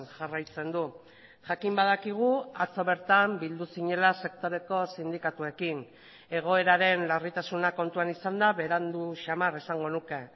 jarraitzen du jakin badakigu atzo bertan bildu zinela sektoreko sindikatuekin egoeraren larritasuna kontuan izanda berandu samar esango nuke